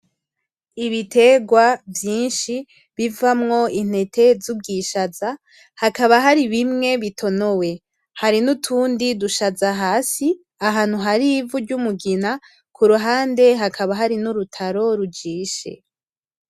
Ibiterwa vyinshi bivamwo intete z'ubwishaza, hakaba hari bimwe bitonowe, hari nutundi dushaza hasi ahantu hari ivu ry'umugina kuruhande hakaba hari n'urutaro rujishe.